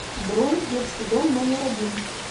бронь детский дом номер один